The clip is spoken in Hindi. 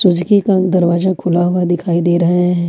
सुजुकी का दरवाजा खुला हुआ दिखाई दे रहे हैं।